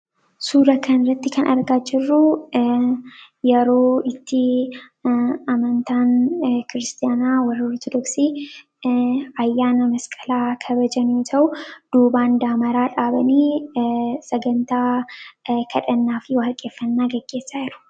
suura kanirratti kan argaa jirruu yeroo itti amantaan kiristaanaa warraurtodoksii ayyaana masqalaa kabajanu ta'u duubaandaa maraa dhaabanii sagantaa kadhannaa fi waalqeffannaa gaggeessaa yeru